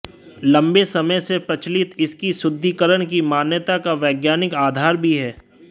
लंबे समय से प्रचलित इसकी शुद्धीकरण की मान्यता का वैज्ञानिक आधार भी है